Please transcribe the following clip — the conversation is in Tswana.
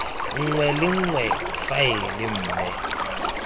nngwe le nngwe faele mme